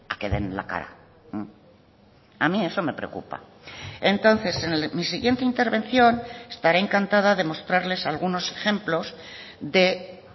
que den la cara a mí eso me preocupa entonces en mi siguiente intervención estaré encantada de mostrarles algunos ejemplos de